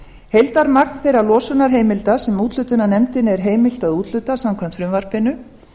heildarmagn þeirra losunarheimilda sem úthlutunarnefndinni er heimilt að úthluta samkvæmt frumvarpinu